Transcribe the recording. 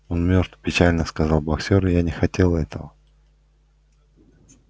он мёртв печально сказал боксёр я не хотел этого